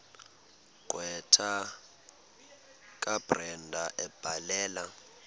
gqwetha kabrenda ebhalela